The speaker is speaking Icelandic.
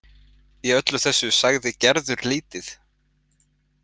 Í öllu þessu sagði Gerður lítið.